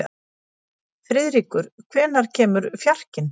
Friðríkur, hvenær kemur fjarkinn?